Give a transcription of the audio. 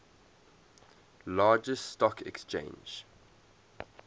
largest stock exchange